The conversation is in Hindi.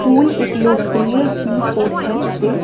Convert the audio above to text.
पूल एक लोकप्रिय क्यू स्पोर्ट्स है जिसे--